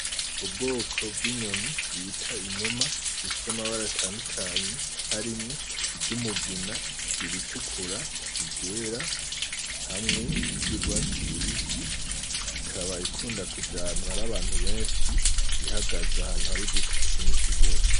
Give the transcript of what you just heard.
Ubwoko bw'inyoni bita inuma ifise amabara atandukanye harimwo iry'umugina, iritukura, iryera hamwe n'ijyugwatsi rubisi ikaba ikunda kuja ahantu hari abantu benshi ihagaze ahantu hari uduti twinshi gose.